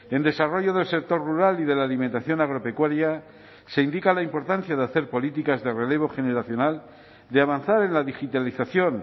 en desarrollo del sector rural y de la alimentación agropecuaria se indica la importancia de hacer políticas de relevo generacional de avanzar en la digitalización